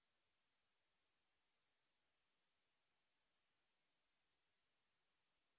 spoken tutorial প্রকল্পর দল কথ্য টিউটোরিয়াল গুলি ব্যবহার করে ওয়ার্কশপ সঞ্চালন করে